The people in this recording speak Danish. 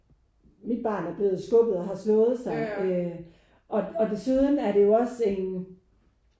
Mit barn er blevet skubbet og har slået sig øh og og desuden er det jo også en